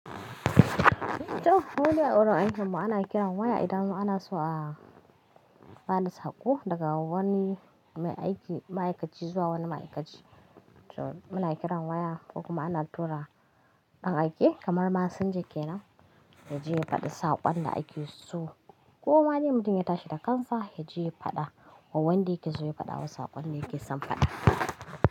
To, muldai awajen aikinmu ana kiran waya anjima idan anaso a faɗi saƙo daga wani ma'aikaci zuwa wani ma'aikaci. To, muna kiran waya ko kuma ana tura ɗan aiki kamar masinja ke nan, yaje ya faɗi saƙon da aiki ya so. Ko madai mutum ya tashi da kansa ya je ya faɗa, ko wanda yake zai faɗa wa saƙon da yake son faɗa.